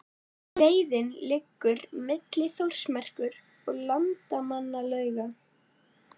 Leiðin liggur milli Þórsmerkur og Landmannalauga.